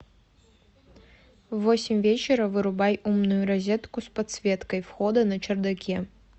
в восемь вечера вырубай умную розетку с подсветкой входа на чердаке